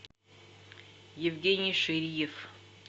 евгений шириев